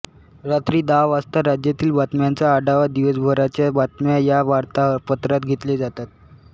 रात्री दहा वाजता राज्यातील बातम्यांचा आढावा दिवसभराच्या बातम्या या वार्तापत्रात घेतले जातात